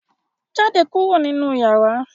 Jáde kúrò nínú yàrá!